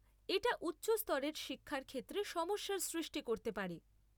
এটা উচ্চ স্তরের শিক্ষার ক্ষেত্রে সমস্যার সৃষ্টি করতে পারে।